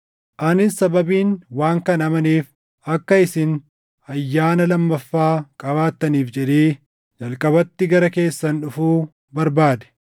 Anis sababiin waan kana amaneef akka isin ayyaana lammaffaa qabaattaniif jedhee jalqabatti gara keessan dhufuu barbaade.